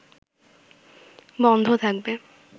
বন্ধ থাকবে